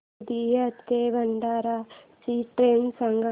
गोंदिया ते भंडारा ची ट्रेन सांग